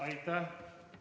Aitäh!